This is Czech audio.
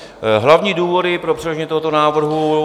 Hlavní důvody pro předložení tohoto návrhu...